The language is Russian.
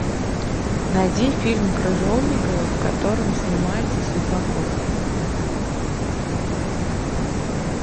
найди фильм крыжовникова в котором снимается светлаков